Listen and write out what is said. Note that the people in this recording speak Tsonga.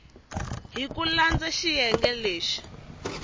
hi ku landza xiyenge lexi